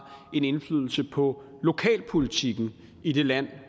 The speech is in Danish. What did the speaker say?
en indflydelse på lokalpolitikken i det land